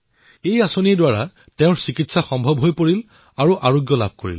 এই যোজনাৰ দ্বাৰা তেওঁৰ চিকিৎসা হল আৰু সুস্থও হল